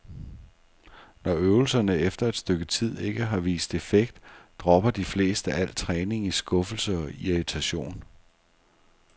Når øvelserne efter et stykke tid ikke har vist effekt, dropper de fleste al træning i skuffelse og irritation.